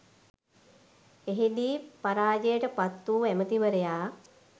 එහි දී පරාජයට පත් වූ ඇමතිවරයා